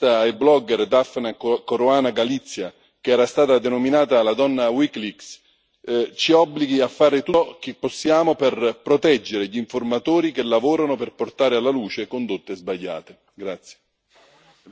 Anche il caso della giornalista e blogger Daphne Caruana Galizia, che era stata denominata la donna Wikileaks, ci obblighi a fare tutto ciò che possiamo per proteggere gli informatori che lavorano per portare alla luce condotte sbagliate.